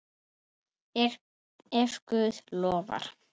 Ef Guð lofar.